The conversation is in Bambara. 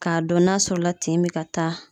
K'a dɔn n'a sɔrɔ la tin bɛ ka taa.